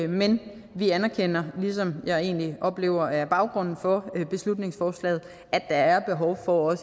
men vi anerkender hvilket jeg egentlig oplever er baggrunden for beslutningsforslaget at der er behov for